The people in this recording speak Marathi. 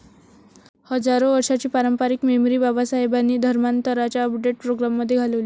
हजारो वर्षाची पारंपरिक मेमरी बाबासाहेबांनी धर्मांतराच्या अपडेट प्रोग्रामने घालवली.